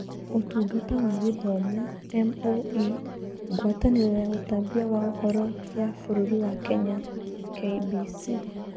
Ũtungata wa Gĩthomo (MoE), Ngwatanĩro ya ũtambia wa Ũhoro ya bũrũri wa Kenya (KBC)